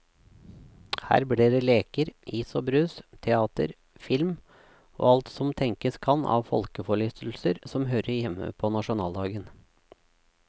Her blir det leker, is og brus, teater, film og alt som tenkes kan av folkeforlystelser som hører hjemme på nasjonaldagen.